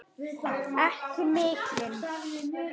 Ekki mikinn.